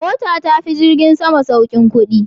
Mota ta fi jirgin sama saukin kudi.